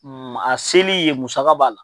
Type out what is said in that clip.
a seli yen musaka b'a la.